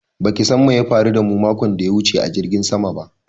Ba ki san me ya faru da mu makon daya wuce a jirgin saman ba